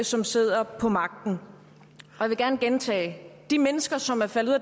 som sidder på magten jeg vil gerne gentage de mennesker som er faldet